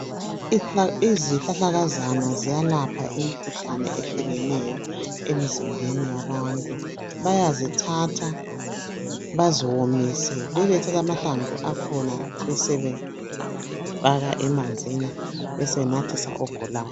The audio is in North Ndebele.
Izihlahlakazana ziyalapha imikhuhlane ehlukeneyo emzimbeni yabantu. Bayazithatha bazomise besebethatha lamahlamvu akhona besebefaka emanzini besebenathisa ogulayo.